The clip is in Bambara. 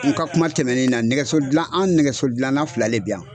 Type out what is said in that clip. An ka kuma tɛmɛnen na ,nɛgɛso gilan an nɛgɛso gilanna fila de bi yan.